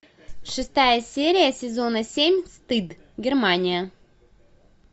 шестая серия сезона семь стыд германия